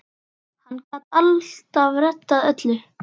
Hann gat alltaf reddað öllu.